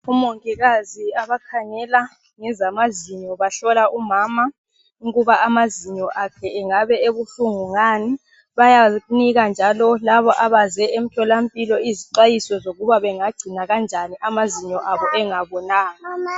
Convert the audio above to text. OMongikazi abakhangela ezamazinyo bahlola umama ukuba amazinyo akhe engabe ebuhlungu ngani bayamuklina njalo abaze emtholampilo izixwayiso yikuba bengagcina kanjani amazinyo abo engabolanga.